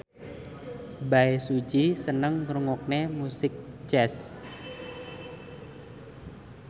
Bae Su Ji seneng ngrungokne musik jazz